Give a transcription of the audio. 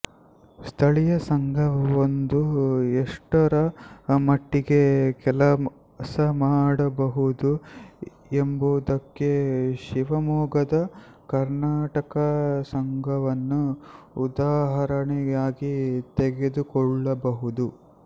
ಸ್ಥಳೀಯ ಸಂಘವೊಂದು ಎಷ್ಟರಮಟ್ಟಿಗೆ ಕೆಲಸಮಾಡಬಹುದು ಎಂಬುದಕ್ಕೆ ಶಿವಮೊಗ್ಗದ ಕರ್ಣಾಟಕ ಸಂಘವನ್ನು ಉದಾಹರಣೆಯಾಗಿ ತೆಗೆದುಕೊಳ್ಳಬಹುದು